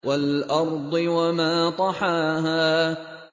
وَالْأَرْضِ وَمَا طَحَاهَا